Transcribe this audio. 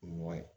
O ɲɔgɔn ye